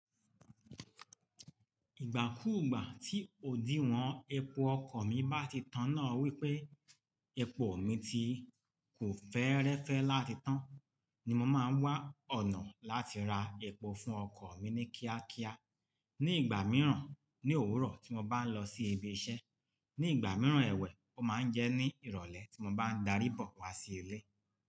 Ìgbà kúùgbà tí òdiwọ̀n epo ọkọ̀ mi bá ti tán náà wípé epo mi ti kò fẹ́ẹ́rẹ́fẹ́ láti tán ni mo máa ń wá ọ̀nà láti ra epo fún ọkọ̀ mi ní kíákíá. Ní ìgbà mìíràn, ní òwúrọ̀ tí mo bá ń lọ sí ibi iṣẹ́, ní ìgbà mìíràn ẹwẹ́, ó máa ń jẹ́ ní ìrọ̀lẹ́ tí mo bá ń darí bọ̀ wá sí ilé.